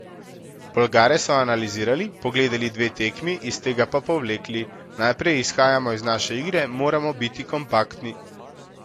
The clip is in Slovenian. Bolgare so analizirali, pogledali dve tekmi, iz tega pa povlekli: "Najprej izhajamo iz naše igre, moramo biti kompaktni.